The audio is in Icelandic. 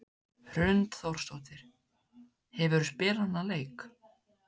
Hrund Þórsdóttir: Hefurðu spilað þennan leik?